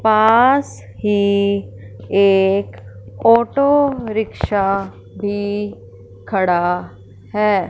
पास ही एक auto rickshaw भी खड़ा है।